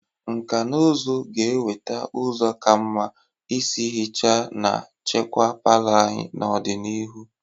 Nkà na ụzụ ga-eweta ụzọ ka mma isi ihicha na chekwaa palọ anyị n'ọdịnihu.